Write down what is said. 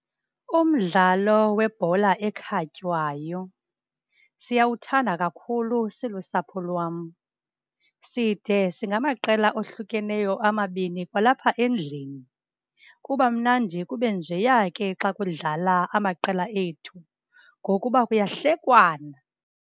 Umdlalo webhola ekhatywayo siyawuthanda kakhulu silusapho lwam. Side singamaqela ohlukeneyo amabini kwalapha endlini. Kuba mnandi kube njeya ke xa kudlala amaqela ethu ngokuba kuyahlekwana.